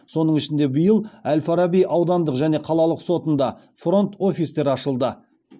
соның ішінде биыл әл фараби аудандық және қалалық сотында фронт офистер ашылды